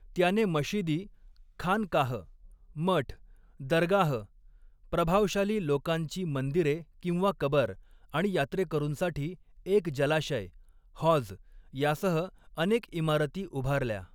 त्याने मशिदी, खानकाह मठ, दरगाह प्रभावशाली लोकांची मंदिरे किंवा कबर आणि यात्रेकरूंसाठी एक जलाशय हॉझ यासह अनेक इमारती उभारल्या.